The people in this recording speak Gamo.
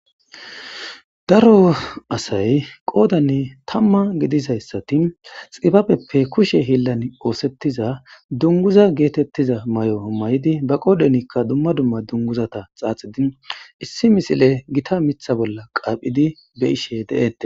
Daro asay,qoodani tamma gidizaysati,xibabeppe kushe hiillani oothetiza,dunguza geetetiza mayo mayidi,be qoodhenika dumma dumma dunguzata xaaxidi,issi misile gita miththa bolla qaaphidi,be'ishe de'etes.